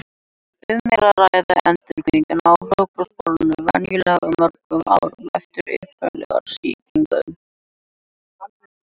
Um er að ræða endurvakningu á hlaupabóluveirunni, venjulega mörgum árum eftir upprunalegu sýkinguna.